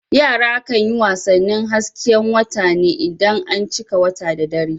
Yara kan yi wasannin hasken wata ne idan an cika wata da dare.